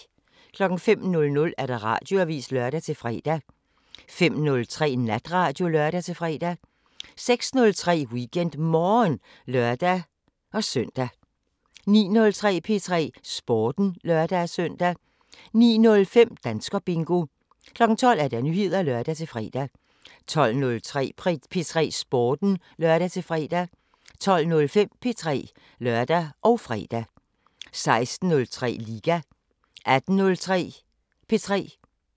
05:00: Radioavisen (lør-fre) 05:03: Natradio (lør-fre) 06:03: WeekendMorgen (lør-søn) 09:03: P3 Sporten (lør-søn) 09:05: Danskerbingo 12:00: Nyheder (lør-fre) 12:03: P3 Sporten (lør-fre) 12:05: P3 (lør og fre) 16:03: Liga 18:03: P3